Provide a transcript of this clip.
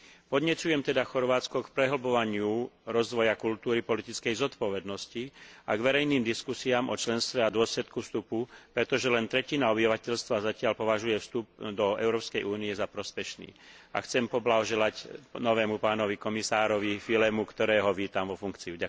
Podnecujem teda Chorvátsko k prehlbovaniu rozvoja kultúry politickej zodpovednosti a k verejným diskusiám o členstve a dôsledku vstupu, pretože len tretina obyvateľstva zatiaľ považuje vstup do Európskej únie za prospešný, a chcem poblahoželať novému komisárovi Füllemu, ktorého vítam vo funkcii.